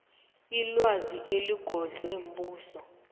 ilwazi eligodlwe mbuso